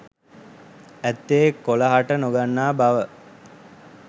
අත්තේ කොළ හට නොගන්නා බව